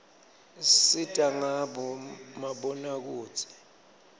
isisita ngabo mabonakudze